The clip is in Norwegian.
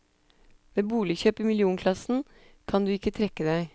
Ved boligkjøp i millionklassen kan du ikke trekke deg.